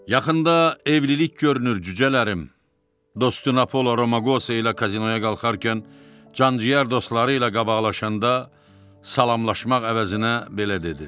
Yaxında evlilik görünür cücələrim, dostu Napolo Romagosa ilə kazinoya qalxarkən can-ciyər dostları ilə qabaqlaşanda salamlamaq əvəzinə belə dedi.